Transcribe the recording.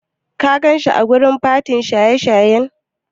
Ka ganshi a wajen fatin shan shayin?